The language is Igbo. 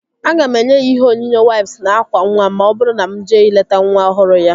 Aga m enye ya ihe onyinye waips na ákwà nwa ma ọ bụrụ na mụ jee ileta nwa ọhụrụ ya